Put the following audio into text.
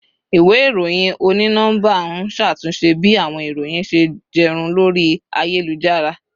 Iwe iroyin oni nọmba n ṣe atunṣe bi awọn iroyin ṣe jẹ run lori ayelujara